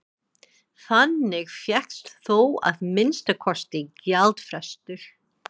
Þannig fékkst þó að minnsta kosti gjaldfrestur.